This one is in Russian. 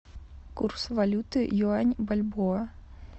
курс валюты юань бальбоа